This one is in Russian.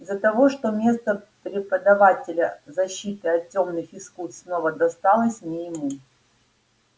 из-за того что место преподавателя защиты от тёмных искусств снова досталось не ему